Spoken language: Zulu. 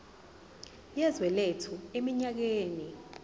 yezwe lethu eminyakeni